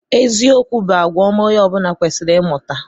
Eziokwu bụ àgwà ọma onye ọ bụla kwesịrị ịmụta.